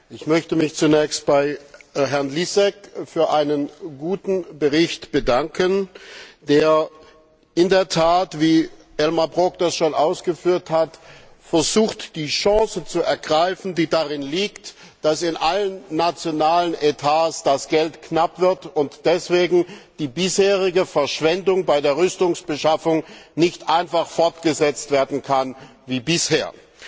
Ich möchte mich zunächst bei Herrn Lisek für einen guten Bericht bedanken, der in der Tat wie Elmar Brok es schon ausgeführt hat versucht, die Chance zu ergreifen, die darin liegt, dass in allen nationalen Etats das Geld knapp wird und deswegen die bisherige Verschwendung bei der Rüstungsbeschaffung nicht einfach fortgesetzt werden kann wie bisher.